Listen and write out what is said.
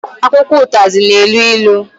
Akwụkwọ ụtazị na-elu ilu